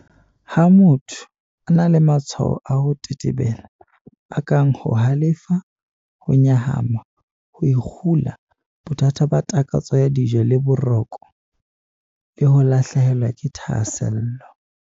Ha motho a na le matshwao a ho tetebela, a kang ho halefa, ho nyahama, ho ikgula, bothata ba takatso ya dijo le ba boroko, le ho lahlehelwa ke thahasello.